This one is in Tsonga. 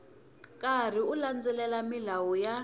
karhi u landzelela milawu ya